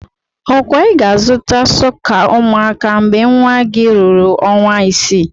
Okwa ị ga-azụta sọka umuaka mgbe nwa gị ruru ọnwa isii?